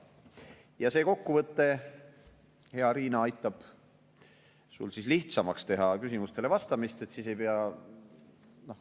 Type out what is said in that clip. Ja see kokkuvõte, hea Riina, aitab sul lihtsamaks teha küsimustele vastamist.